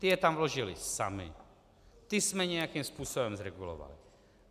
Ty je tam vložily samy, ty jsme nějakým způsobem regulovali.